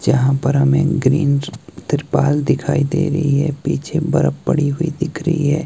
जहां पर हमे ग्रीन तिरपाल दिखाई दे रही है पीछे बर्फ पड़ी हुई दिख रही है।